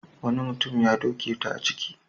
Wani mutum ya doke ta a ciki.